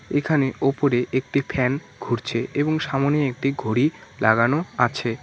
এখানে ওপরে একটি ফ্যান ঘুরছে এবং সামোনে একটি ঘড়ি লাগানো আছে।